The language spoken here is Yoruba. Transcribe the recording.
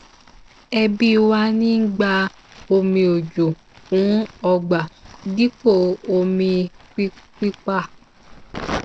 ẹbí wa ń gba omi òjò fún ọgbà dipo omi pípà